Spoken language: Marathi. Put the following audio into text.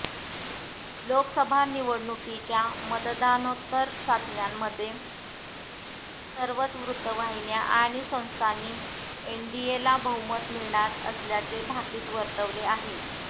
लोकसभा निवडणुकीच्या मतदानोत्तर चाचण्यांमध्ये सर्वच वृत्तवाहिन्या आणि संस्थांनी एनडीएला बहुमत मिळणार असल्याचे भाकित वर्तवले आहे